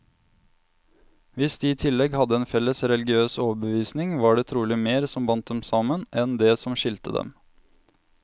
Hvis de i tillegg hadde en felles religiøs overbevisning, var det trolig mer som bandt dem sammen, enn det som skilte dem.